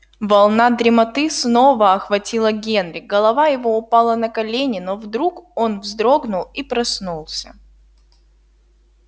волна дремоты снова охватила генри голова его упала на колени но вдруг он вздрогнул и проснулся